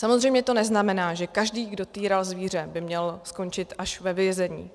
Samozřejmě to neznamená, že každý, kdo týral zvíře, by měl skončit až ve vězení.